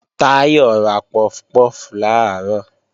Táyọ̀ ra puff puff làárọ̀